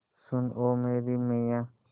सुन ओ मेरी मैय्या